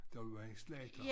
Der var en slagter